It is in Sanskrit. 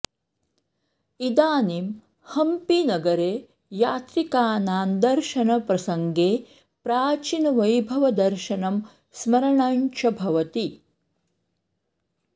इदानीं हम्पीनगरे यात्रिकानां दर्शनप्रसङ्गे प्राचीनवैभवदर्शनं स्मरणं च भवति